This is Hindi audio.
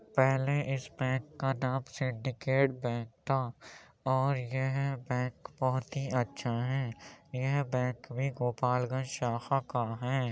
पहले इस बैंक का नाम सिंडीकेट बैंक था और यह बैंक बहोत ही अच्छा है। यह बैंक भी गोपालगंज शाखा का है।